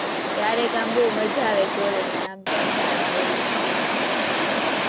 ક્યારેક આમ બોવ મજા આવે college માં અને આમ કંટાળો આવે, એવું થાય.